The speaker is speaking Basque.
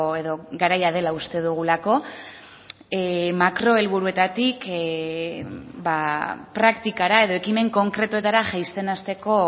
edo garaia dela uste dugulako makro helburuetatik praktikara edo ekimen konkretuetara jaisten hasteko